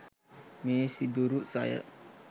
මේ සිදුරු සය